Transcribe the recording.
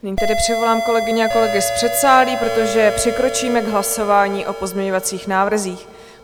Nyní tedy přivolám kolegyně a kolegy z předsálí, protože přikročíme k hlasování o pozměňovacích návrzích.